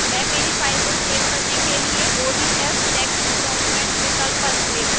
मैं मेरी फाइल को सेव करने के लिए odf text document विकल्प पर click करूंगी